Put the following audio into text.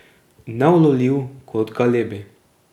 Neulovljiv kot galebi.